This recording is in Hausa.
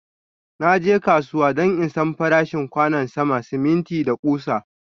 Na je kasuwa don in San farashin kwanon sama, siminti, da kusa.